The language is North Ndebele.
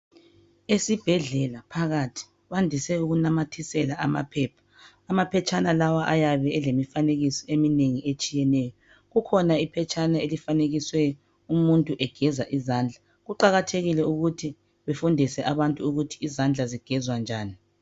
Esibhedlela phakathi bandise ukunamathisela amaphepha amaphetshana lawa ayabe elemifanekiso eminengi etshiyeneyo kukhona iphetshana elifanekiswe umuntu egeza izandla kuqakathekile ukuthi befundise abantu ukuthi izandla zigezwa njani.